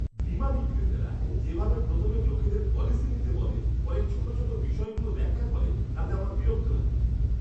বীমা বিক্রেতারা যেভাবে প্রথমে লোকেদের পলিসি নিতে বলে পরে ছোট ছোট বিষয়গুলো ব্যাখ্যা করে, তাতে আমার বিরক্ত লাগে।